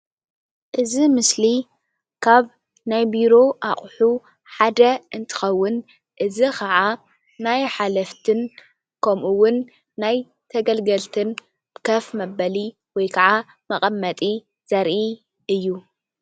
እዚ ምስሊ ካብ ናይ ቢሮ ኣቁሑ ሓደ እንትኸዉን እዚ ኽዓ ናይ ሓለፍትን ከምኡ ዉን ናይ ተገልገልትን ከፍ መበሊ ወይ ከዓ መቐመጢ ዘርኢ እዩ።